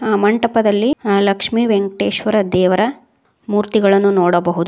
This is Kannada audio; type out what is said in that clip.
ಆ ಮಂಟಪದಲ್ಲಿ ಆ ಲಕ್ಷ್ಮಿ ವೆಂಕಟೇಶ್ವರ ದೇವರ ಮೂರ್ತಿಗಳನ್ನು ನೋಡಬಹುದು.